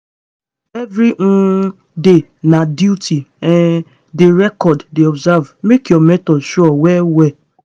every um day na duty um dey record dey observe make your method sure well well.